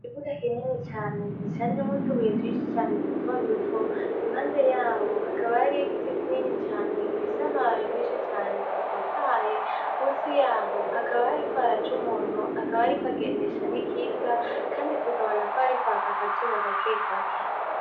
Ikibuga kinini cane gishanjemwo utubuye twinshi cane dutoduto, impande yaho hakaba hariho igiti kinini cane gifise amababi menshi cane atotahaye. Musi yaho hakaba hariko haraca umuntu akaba ariko agendesha n'ikinga kandi tukabona ko hariko haka akazuba gakegake.